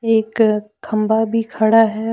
एक खंभा भी खड़ा है।